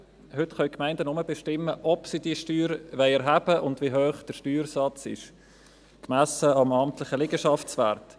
Heute können die Gemeinden nur bestimmen, ob sie die Steuer erheben wollen und wie hoch der Steuersatz ist, gemessen am amtlichen Liegenschaftswert.